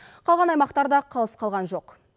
қалған аймақтар да қалыс қалған жоқ